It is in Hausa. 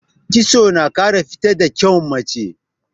Kitso tana ƙara fito da kyawun mace.